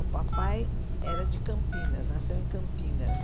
O papai era de Campinas, nasceu em Campinas.